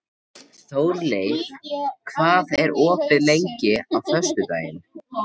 Þórleif, hvað er opið lengi á föstudaginn?